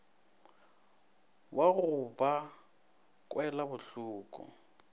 wa go ba kwela bohloko